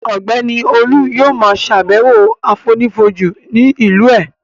Ọ̀gbẹ́ni Olú yóò ma ṣàbẹ̀wọ̀ àfonífojì ní ìlú ẹ̀